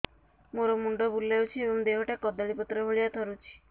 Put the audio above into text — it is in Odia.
ମୋର ମୁଣ୍ଡ ବୁଲାଉଛି ଏବଂ ଦେହଟା କଦଳୀପତ୍ର ଭଳିଆ ଥରୁଛି